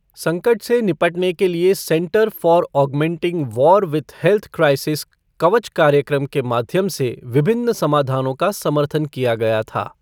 संकट से निपटने के लिए centre for augmenting war with health crisis Kavach कार्यक्रम के माध्यम से विभिन्न समाधानों का समर्थन किया गया था।